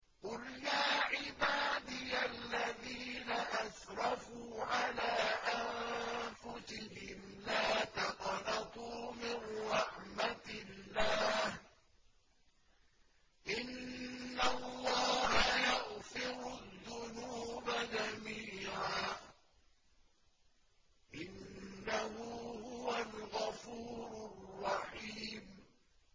۞ قُلْ يَا عِبَادِيَ الَّذِينَ أَسْرَفُوا عَلَىٰ أَنفُسِهِمْ لَا تَقْنَطُوا مِن رَّحْمَةِ اللَّهِ ۚ إِنَّ اللَّهَ يَغْفِرُ الذُّنُوبَ جَمِيعًا ۚ إِنَّهُ هُوَ الْغَفُورُ الرَّحِيمُ